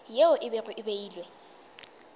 yeo e bego e beilwe